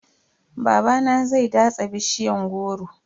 Babana zai datsa bishiyan goro.